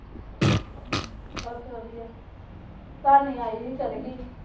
ਬਸ ਵਧੀਆ। ਭਾਣੀ ਆਈ ਸੀ, ਚਲੀ ਗਈ।